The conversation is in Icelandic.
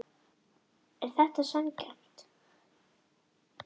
Er þetta sanngjarnt